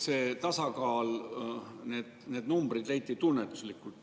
See tasakaal, need numbrid leiti tunnetuslikult.